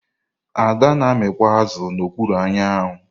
Ada na amịkpọ azụ na ọkpụrụ anwụ.